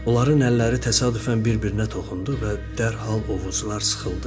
Onların əlləri təsadüfən bir-birinə toxundu və dərhal ovucular sıxıldı.